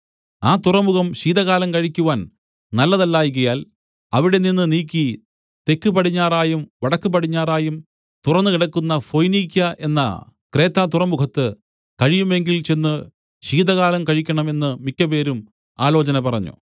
ആ തുറമുഖം ശീതകാലം കഴിക്കുവാൻ നല്ലതല്ലായ്കയാൽ അവിടെനിന്ന് നീക്കി തെക്കുപടിഞ്ഞാറായും വടക്കുപടിഞ്ഞാറായും തുറന്നുകിടക്കുന്ന ഫൊയ്നീക്യ എന്ന ക്രേത്തതുറമുഖത്ത് കഴിയുമെങ്കിൽ ചെന്ന് ശീതകാലം കഴിക്കണം എന്ന് മിക്കപേരും ആലോചന പറഞ്ഞു